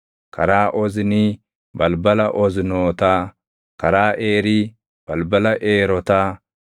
karaa Oznii, balbala Oznootaa; karaa Eerii, balbala Eerotaa;